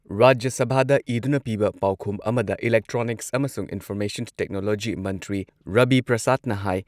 ꯔꯥꯖ꯭ꯌ ꯁꯚꯥꯗ ꯏꯗꯨꯅ ꯄꯤꯕ ꯄꯥꯎꯈꯨꯝ ꯑꯃꯗ ꯏꯂꯦꯛꯇ꯭ꯔꯣꯅꯤꯛꯁ ꯑꯃꯁꯨꯡ ꯏꯟꯐꯣꯔꯃꯦꯁꯟ ꯇꯦꯛꯅꯣꯂꯣꯖꯤ ꯃꯟꯇ꯭ꯔꯤ ꯔꯕꯤ ꯄ꯭ꯔꯁꯥꯗꯅ ꯍꯥꯏ